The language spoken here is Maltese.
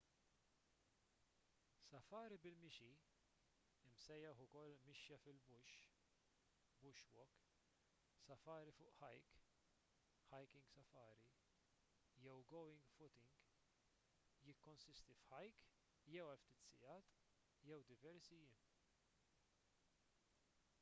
safari bil-mixi imsejjaħ ukoll mixja fil- bush” bush walk” safari fuq hike hiking safari” jew going footing"” jikkonsisti f’hike jew għal ftit sigħat jew diversi jiem